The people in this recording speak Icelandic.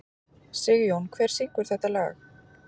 Sigjón, hver syngur þetta lag?